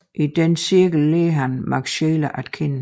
I denne cirkel lærte han Max Scheler at kende